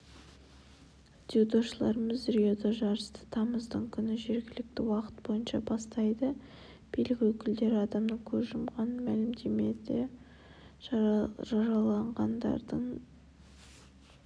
дзюдошыларымыз риода жарысты тамыздың күні жергілікті уақыт бойынша бастайды билік өкілдері адамның көз жұмғанын мәлімдеді жараланғандардың